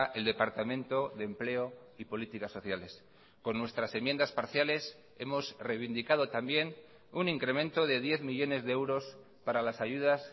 el departamento de empleo y políticas sociales con nuestras enmiendas parciales hemos reivindicado también un incremento de diez millónes de euros para las ayudas